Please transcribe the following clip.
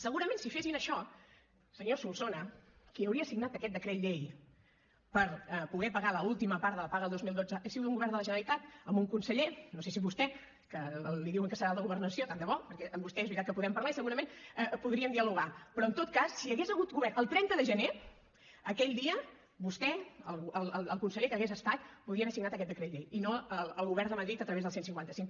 segurament si fessin això senyor solsona qui hauria signat aquest decret llei per poder pagar l’última part de la paga del dos mil dotze hagués sigut un govern de la generalitat amb un conseller no sé si vostè que li diuen que serà el de governació tant de bo perquè amb vostè és veritat que podem parlar i segurament podríem dialogar però en tot cas si hi hagués hagut govern el trenta de gener aquell dia vostè o el conseller que hagués estat podria haver signat aquest decret llei i no el govern de madrid a través del cent i cinquanta cinc